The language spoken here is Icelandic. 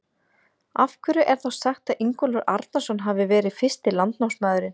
Af hverju er þá sagt að Ingólfur Arnarson hafi verið fyrsti landnámsmaðurinn?